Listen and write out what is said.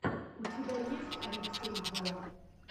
у тебя есть алексей бо